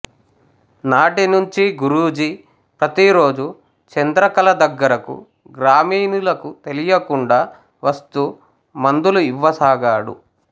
నాటి నుంచి గురూజీ ప్రతిరోజూ చంద్రకళ దగ్గరకు గ్రామీణులకు తెలియకుండా వస్తూ మందులు ఇవ్వసాగాడు